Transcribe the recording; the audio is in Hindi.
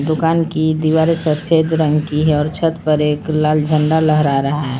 दुकान की दीवारे सफेद रंग की है और छत पर एक लाल झंडा लहरा रहा है।